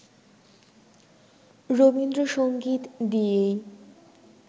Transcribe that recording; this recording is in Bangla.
রবীন্দ্রসংগীত দিয়েই